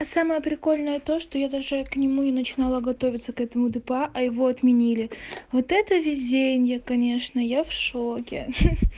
самое прикольное то что я даже к нему и начала готовиться к этому дпа а его отменили вот это везение конечно я в шоке хи-хи